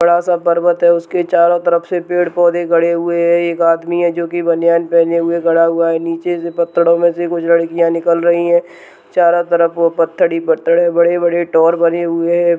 बड़ा सा पर्वत है उसके चारो तरफ से पेड़-पौधे गड़े हुए हैं। एक आदमी है जो कि बनियान पहेने खड़ा हुआ है। नीचे से पत्थरो में से कुछ लडकियां निकल रही हैं। चारो तरफ वो पत्थर ही पत्थर हैं। बड़े-बड़े टोर बने हुए हैं।